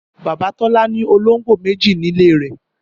Bàbá Tọ́lá ní ológbò méjì nílé rẹ̀